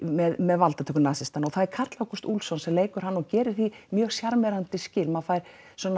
með með valdatöku nasismans það er Karl Ágúst Úlfsson sem leikur hann og gerir því mjög sjarmerandi skil maður fær